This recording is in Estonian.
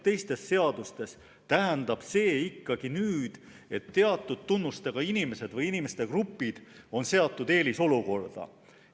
Teistes seadustes tähendab see ikkagi nüüd seda, et teatud tunnustega inimesed või inimeste grupid on seatud eelisolukorda.